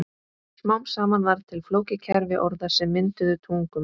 Smám saman varð til flókið kerfi orða sem mynduðu tungumál.